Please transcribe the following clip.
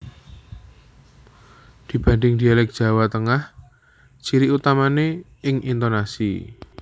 Dibanding dialek Jawa Tengah ciri utamane ing intonasi